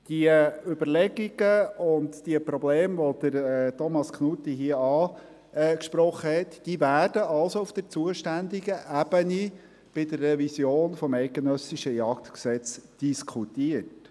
» Die Überlegungen und Probleme, die Thomas Knutti hier angesprochen hat, werden also auf der zuständigen Ebene bei der Revision des JSG diskutiert.